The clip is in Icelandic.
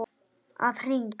Að hring!